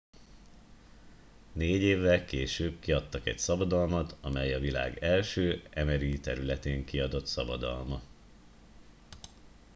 négy évvel később kiadtak egy szabadalmat amely a világ első mri területén kiadott szabadalma